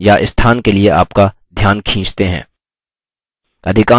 एक object या स्थान के लिए आपका ध्यान खींचते हैं